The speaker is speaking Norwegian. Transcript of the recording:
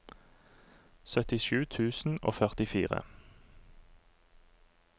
syttisju tusen og førtifire